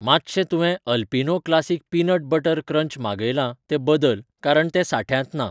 मातशें तुवें Alpino classic peanut butter crunch मागयलां तें बदल कारण तें सांठ्यांत ना